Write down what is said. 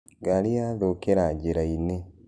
Ngarĩ nĩyathũkĩra njĩrainĩ.